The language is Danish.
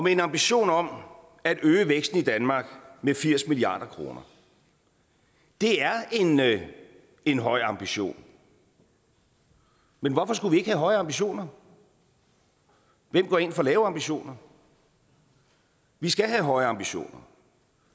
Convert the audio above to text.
en ambition om at øge væksten i danmark med firs milliard kroner det er en høj ambition men hvorfor skulle vi ikke have høje ambitioner hvem går ind for lave ambitioner vi skal have høje ambitioner